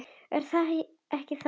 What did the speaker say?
Er það ekki þannig?